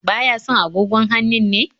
Ba ya son agogon hannun ne?